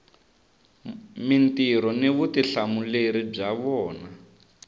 mintirho ni vutihlamuleri bya vona